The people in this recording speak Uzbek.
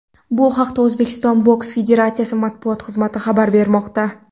Bu haqda O‘zbekiston boks federatsiyasi matbuot xizmati xabar bermoqda .